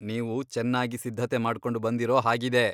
ನೀವು ಚೆನ್ನಾಗಿ ಸಿದ್ಧತೆ ಮಾಡ್ಕೊಂಡ್ ಬಂದಿರೋ ಹಾಗಿದೆ.